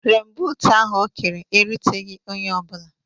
Renbuut ahụ o kere eruteghị onye ọ bụla